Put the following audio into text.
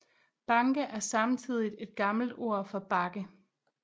Banke er samtidigt et gammel ord for bakke